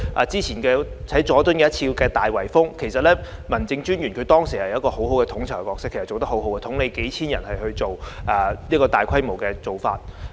早前，佐敦進行了一次"大圍封"，其實民政專員當時做得很好，他擔任統籌角色，統領數千人執行該項大規模的工作。